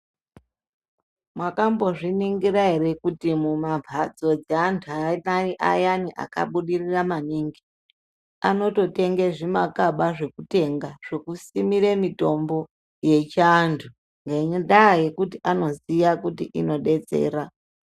Mwakambozviningira ere kuti, mumamphatso dzeantu ayani akabudirira maningi, anototenga zvimakaba zvekutenga, zvekusimira mitombo yechiantu. Ngendaa yekuti anoziye kuti inodetsera.